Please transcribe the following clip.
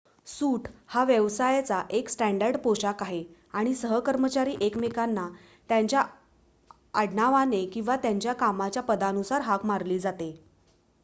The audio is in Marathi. सूट हा व्यवसायाचा एक स्टॅंडर्ड पोशाख आहे आणि सहकर्मचारी एकमेकांना त्यांच्या आडनावाने किंवा त्यांच्या कामाच्या पदानुसार हाक मारली जाते